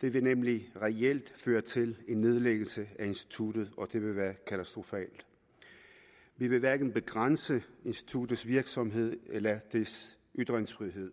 det vil nemlig reelt føre til en nedlæggelse af instituttet og det vil være katastrofalt vi vil hverken begrænse instituttets virksomhed eller dets ytringsfrihed